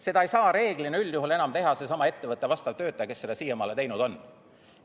Seda ei saa üldjuhul enam teha selle sama ettevõtte vastav töötaja, kes seda siiamaani teinud on.